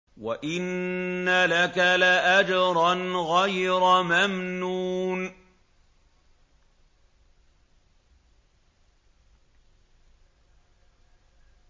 وَإِنَّ لَكَ لَأَجْرًا غَيْرَ مَمْنُونٍ